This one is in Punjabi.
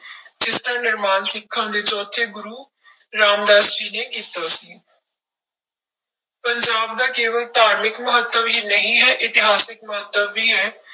ਜਿਸਦਾ ਨਿਰਮਾਣ ਸਿੱਖਾਂ ਦੇ ਚੌਥੇ ਗੁਰੂ ਰਾਮਦਾਸ ਜੀ ਨੇ ਕੀਤਾ ਸੀ ਪੰਜਾਬ ਦਾ ਕੇਵਲ ਧਾਰਮਿਕ ਮਹੱਤਵ ਹੀ ਨਹੀਂ ਹੈ, ਇਤਿਹਾਸਕ ਮਹੱਤਵ ਵੀ ਹੈ।